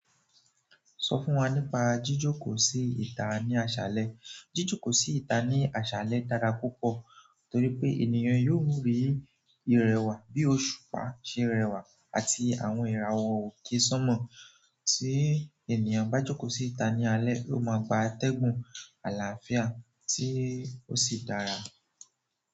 Sọ fún wa nípa jíjókòó sí ìta ní àṣálẹ́. Jíjókòó sí ìta ní àṣálẹ́ dára púpọ̀ torí pé ènìyàn yóò rí ìrẹwà bí òṣùpá ṣe rẹwà àti àwọn ìràwọ̀ òkè sánmọ̀ tí ènìyàn bá jókòó sí ìta ní alẹ́, yóò máa gba atẹ́gùn àlàáfíà tí ó sì dára.